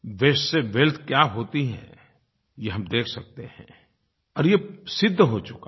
वास्ते से वेल्थ क्या होती है ये हम देख सकते हैं और ये सिद्ध हो चुका है